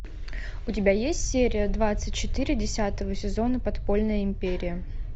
у тебя есть серия двадцать четыре десятого сезона подпольная империя